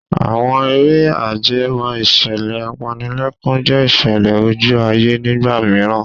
Àwọn eré ajẹmọ́ ìṣẹ̀lẹ̀ apanilẹ́kún jẹ́ ìṣẹ̀lẹ̀ ojú ayé nígbà mìíràn.